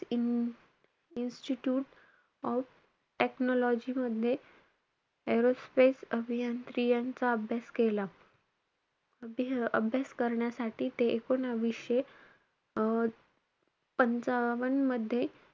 Institute of institute of technology मध्ये aerospace अभियांत्री यांचा अभ्यास केला. अभि~ अभ्यास करण्यासाठी ते एकूणवीसशे अं पंचावन्न मध्ये,